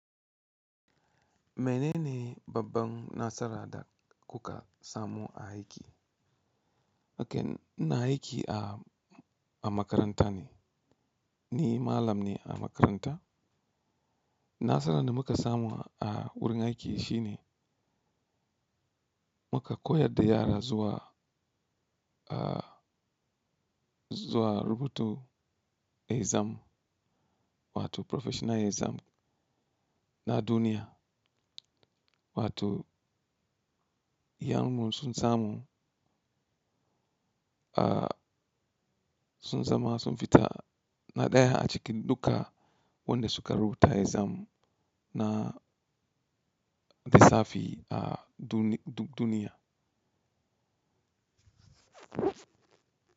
Me ne ne babban nasara da kuka samu a aiki? Okay, ina aiki a, a makaranta ne, ni malam ne a makaranta. Nasarar da muka samu a wurin aiki shi ne muka koyar da yara zuwa, ah, zuwa rubutu exam wato professional exam na duniya, wato iyamu sun samu, ah, sun zama sun fita na ɗaya a cikin duka wadanda suka rubuta exam na lissafi a dun-du-duniya.